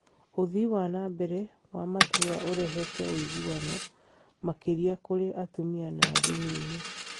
Ũthii wa na mbere wa matũũra ũrehete ũiguano makĩria kũrĩ atumia na ndini-inĩ.